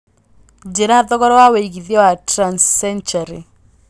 njĩira thogora wa wĩigĩthĩa wa transcentury